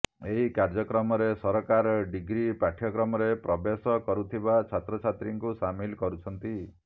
ଏହି କାର୍ଯ୍ୟକ୍ରମରେ ସରକାର ଡିଗ୍ରି ପାଠ୍ୟକ୍ରମରେ ପ୍ରବେଶ କରୁଥିବା ଛାତ୍ରଛାତ୍ରୀଙ୍କୁ ସାମିଲ କରୁଛନ୍ତି